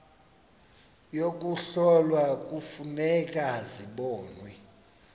yokuhlola kufuneka zibonwe